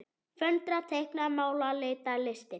Föndra- teikna- mála- lita- listir